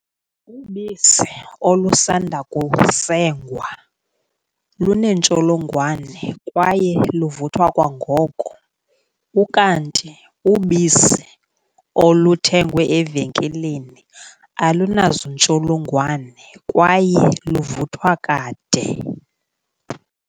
Ubisi olusanda kusengwa luneentsholongwane kwaye luvuthwa kwangoko, ukanti ubisi oluthengwe evenkileni alunazintsholongwane kwaye luvuthwa kade.